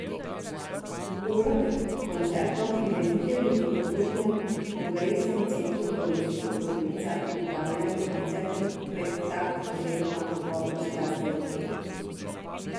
Uro pred koncertom prireditelji v Kulturnem kongresnem centru v Dolenjskih Toplicah pripravljajo koncertni predtakt oziroma pogovor z glasbeniki.